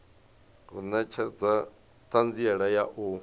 u netshedza thanziela ya u